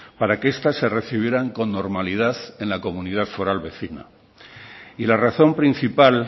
para que estas se recibieran con normalidad en la comunidad foral vecina y la razón principal